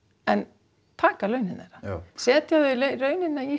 en taka launin þeirra setja þau í rauninni í